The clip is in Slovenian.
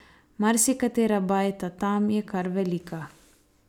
Marsikatera bajta tam je kar velika.